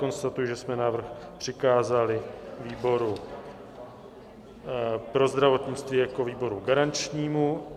Konstatuji, že jsme návrh přikázali výboru pro zdravotnictví jako výboru garančnímu.